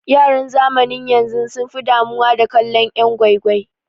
Yaran zamanin yanzu sun fi damuwa da kallon yan' gwai gwai.